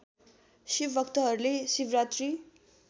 शिव भक्तहरूले शिवरात्री